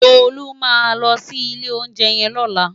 Tolu má lò si ilé óunjè yèn lòlá